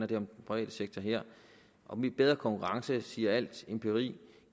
det om den private sektor her og bedre konkurrence siger al empiri